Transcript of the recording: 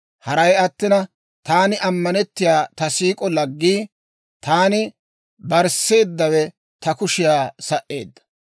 Haray attina, taani ammanettiyaa ta siik'o laggii, taani barsseeddawe ta kushiyaa sa"eedda.